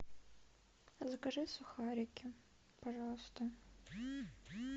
закажи сухарики пожалуйста